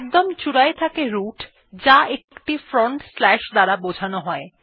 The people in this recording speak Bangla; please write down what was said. একদম চূড়ায় থাকে রুট যা একটি ফ্রন্টস্ল্যাশ এর দ্বারা বোঝানো হয়